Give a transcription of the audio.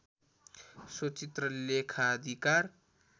so चित्र लेखाधिकार